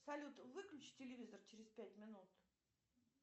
салют выключи телевизор через пять минут